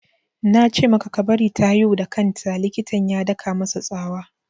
Na ce maka ka bari ta haihu da kan ta! Likitan ya daka masa tsawa